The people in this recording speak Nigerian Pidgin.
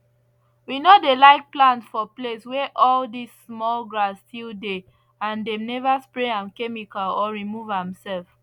we no dey like plant for place where all this small grass still dey and dem never spray am chemical or remove am sef